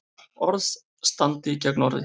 Orð standi gegn orði